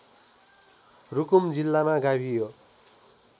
रुकुम जिल्लामा गाभियो